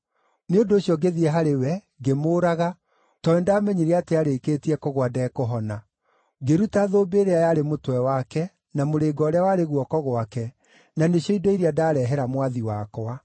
“Nĩ ũndũ ũcio ngĩthiĩ harĩ we, ngĩmũũraga, tondũ nĩndamenyire atĩ arĩkĩtie kũgũa ndekũhona. Ngĩruta thũmbĩ ĩrĩa yarĩ mũtwe wake, na mũrĩnga ũrĩa warĩ guoko gwake, na nĩcio indo iria ndarehera mwathi wakwa.”